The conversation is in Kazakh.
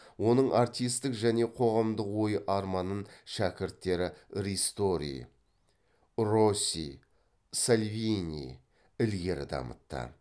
оның артистік және қоғамдық ой арманын шәкірттері ристори росси сальвини ілгері дамытты